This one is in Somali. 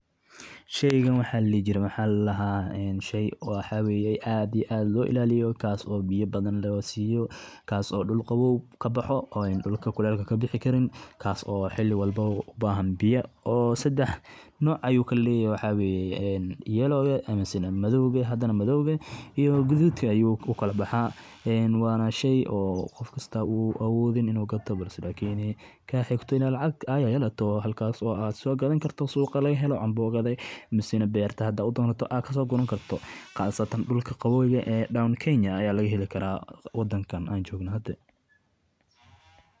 Kooxo canab ah oo midabo kala duwan leh sida cagaar, guduud, iyo madow ayaa si qurux badan ugu lixaadsan laamaha geedaha canabka, waxaana lagu arkayaa iyaga oo isku dheggan si dabiici ah, mid walba oo kamid ah kooxahaasna waxa uu ka kooban yahay canab tiro badan oo yaryar, wareegsan, lehna maqaar dhalaalaya oo jilicsan, taasoo ka dhigtay inay noqdaan kuwo aad u soo jiidasho badan.